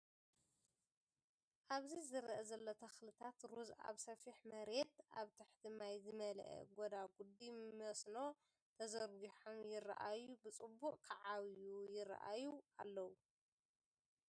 ኣብዚ ዝረአ ዘሎ ተኽልታት ሩዝ ኣብ ሰፊሕ መሬት ኣብ ትሕቲ ማይ ዝመልአ ጐዳጉዲ መስኖ ተዘርጊሖም ይረኣዩ ብፅቡቅ ክዓብዩ ይራኣዩ ኣለው።